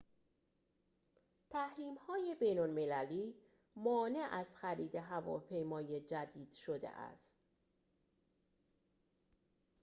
تحریم‌های بین‌المللی مانع از خرید هواپیمای جدید شده است